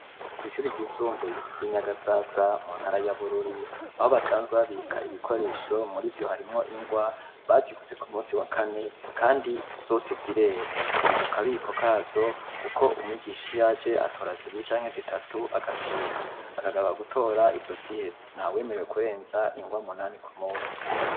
Kw'ishuri ryisumbuye ry'i Nyagasasa mu ntara ya Bururi, aho basanzwe babika ibikoresho, mur'ivyo harimwo ingwa baziguze ku munsi wa kane, kandi zose zirera, ziri mu kabiko kazo kuko umwigisha iyo aje, atora zibiri canke zitatu, agasohoka, akagaruka gutora izo ziheze, nta wemerewe kurenza ingwa umunani ku munsi.